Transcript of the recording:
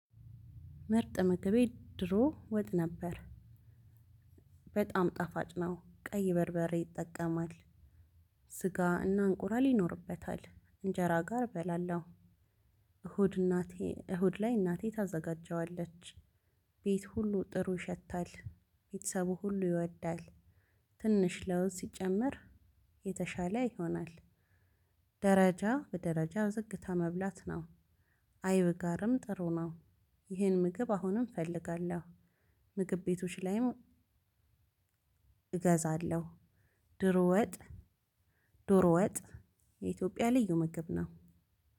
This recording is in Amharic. ምርጥ ምግቤ ድሮ ወጥ ነበር። በጣም ጣፋጭ ነው ቀይ በርበሬ ይጠቀማል ስጋና እንቁላል ይኖርበታል እንጀራ ጋር እበላለው። እሁድ እናቴ እሁድ ላይ እናቴ ታዘጋጀዋለች። ቤት ሁሉ ጥሩ ይሸታል። ቤተሰቡ ሁሉ ይወዳል። ትንሽ ለውዝ ሲጨመር የተሻለ ይሆናል። ደረጃ በደረጃ ዝግታ መብላት ነው። አይብ ጋርም ጥሩ ነው። ይሄን ምግብ አሁንም እፈልጋለሁ። ምግብ ቤቶች ላይም እገዛለሁ። ድሮ ወጥ ዶሮ ወጥ የኢትዮጵያ ልዩ ምግብ ነው።